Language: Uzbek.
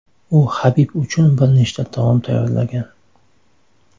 U Habib uchun bir nechta taom tayyorlagan.